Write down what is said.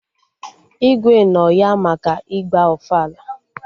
Igwe nọ ya maka ịgba ofala